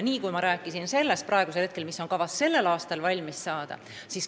Ma juba rääkisin sellest, mis on kavas tänavu valmis saada.